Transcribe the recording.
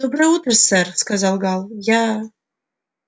доброе утро сэр сказал гаал я